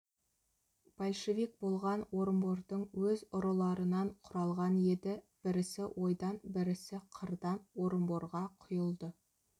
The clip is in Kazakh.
большевик болған орынбордың өз ұрыларынан құралған еді бірісі ойдан бірісі қырдан орынборға құйылды